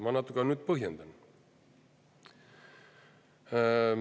Ma natuke nüüd põhjendan.